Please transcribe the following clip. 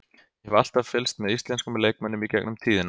Ég hef alltaf fylgst með íslenskum leikmönnum í gegnum tíðina.